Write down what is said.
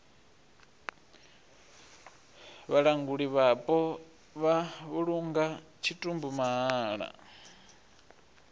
vhalanguli vhapo vha vhulunga tshitumbu mahala